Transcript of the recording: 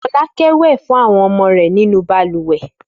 Fọlákẹ́ wẹ̀ fún àwọn ọmọ rẹ̀ nínú balùwẹ̀.